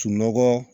Sunɔgɔ